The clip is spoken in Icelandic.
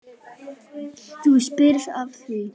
Þú spyrð að því.